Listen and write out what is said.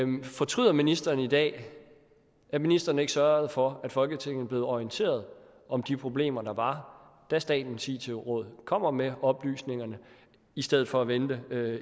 men fortryder ministeren i dag at ministeren ikke sørgede for at folketinget blev orienteret om de problemer der var da statens it råd kom med oplysningerne i stedet for at vente